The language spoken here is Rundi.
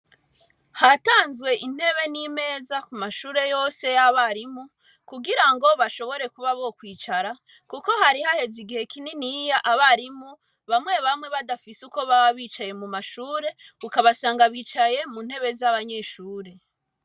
Hatanzwe intebe n'imeza ku mashure yose y'abarimu, kugirango bashobore kuba bokwicara kuko hari haheze igihe kininiya abarimu bamwe bamwe badafise uko baba bicaye mu mashure, ukabasanga bicaye mu ntebe z'abanyeshure.